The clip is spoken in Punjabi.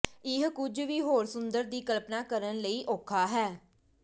ਇਹ ਕੁਝ ਵੀ ਹੋਰ ਸੁੰਦਰ ਦੀ ਕਲਪਨਾ ਕਰਨ ਲਈ ਔਖਾ ਹੈ